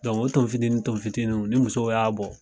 o ton fitini ton fitiniw ni musow y'a bɔ.